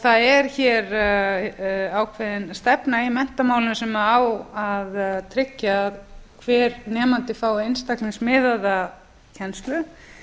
það er hér ákveðin stefna í menntamálum sem á að tryggja að hver nemandi fái einstaklingsmiðaða kennslu